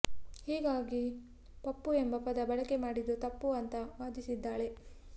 ಹೀಗಾಗಿ ಪಪ್ಪು ಎಂಬ ಪದ ಬಳಕೆ ಮಾಡಿದ್ದು ತಪ್ಪು ಅಂತಾ ವಾದಿಸಿದ್ದಾಳೆ